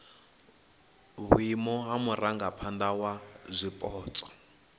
vhuimo ha murangaphana wa zwipotso